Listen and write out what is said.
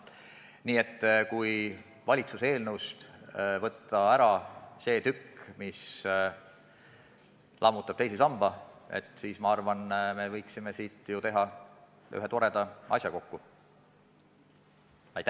Nii et kui valitsuse eelnõust võtta ära see tükk, mis lammutab teise samba, siis ma arvan, et me võiksime ühe toreda asja kokku saada.